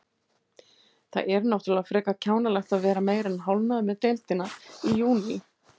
Það er náttúrulega frekar kjánalegt að vera meira en hálfnaður með deildina í júní.